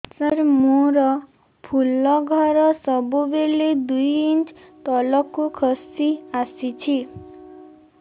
ସାର ମୋର ଫୁଲ ଘର ସବୁ ବେଳେ ଦୁଇ ଇଞ୍ଚ ତଳକୁ ଖସି ଆସିଛି